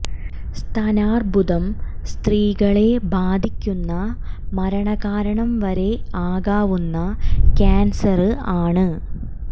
സ്തനാര്ബുദം സ്ത്രീകളെ ബാധിക്കുന്ന മരണ കാരണം വരെ ആകാവുന്ന ക്യാന്സര് ആണ്